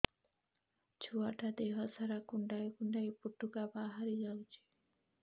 ଛୁଆ ଟା ଦେହ ସାରା କୁଣ୍ଡାଇ କୁଣ୍ଡାଇ ପୁଟୁକା ବାହାରି ଯାଉଛି